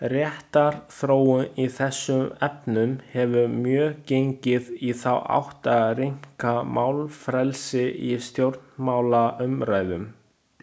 Réttarþróun í þessum efnum hefur mjög gengið í þá átt að rýmka málfrelsi í stjórnmálaumræðum.